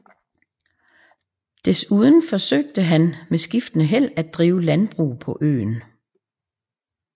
Desuden forsøgte han med skiftende held at drive landbrug på øen